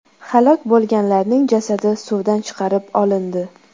Halok bo‘lganlarning jasadi suvdan chiqarib olindi.